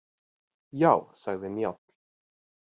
Já, sagði Njáll.